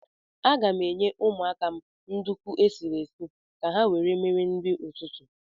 Aga m enye ụmụaka m nduku esiri esi ka ha were mere nri ụtụtụ.